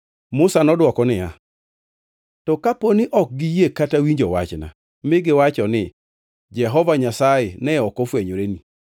Musa nodwoko niya, “To kapo ni ok giyie kata winjo wachna mi giwacho ni, ‘Jehova Nyasaye ne ok ofwenyoreni’?”